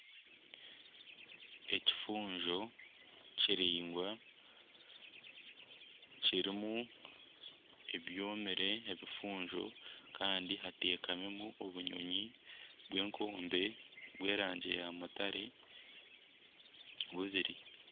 Ekifunjo kiringwa kirimu ebyomire ebifuunjo kandi hatekamimu obunyonyi bw'enkombe by'erangi ya mutare bubiri.